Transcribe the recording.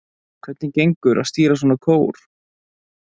Hvernig gengur að stýra svona kór?